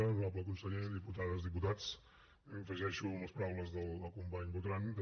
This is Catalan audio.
honorable conseller diputades diputats m’afegeixo a les paraules del company botran també